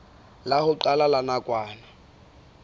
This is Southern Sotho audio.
la ho qala la nakwana